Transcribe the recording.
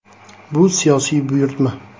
Bu siyosiy buyurtma.